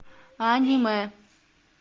аниме